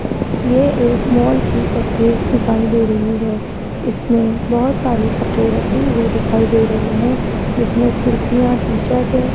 ये एक मॉल की तस्वीर दिखाई दे रही है इसमें बहुत सारे कपड़े रखे हुए दिखाई दे रहे हैं जिसमें कुर्तियां टी शर्ट है।